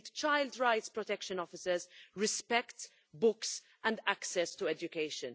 They need child rights protection officers, respect, books and access to education.